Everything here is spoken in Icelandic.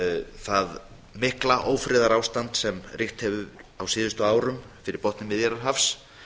það mikla ófriðarástand sem ríkt hefur á síðustu árum fyrir botni miðjarðarhafs